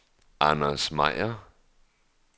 Anders Meier